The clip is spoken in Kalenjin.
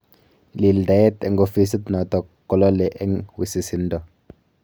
Lildaet eng ofisit notok kolale eng wisisindo